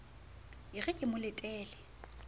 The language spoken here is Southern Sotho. e re ke mo letele